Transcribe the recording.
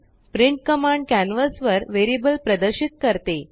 printकमांडकॅनवासवरवेरिअबल प्रदर्शित करते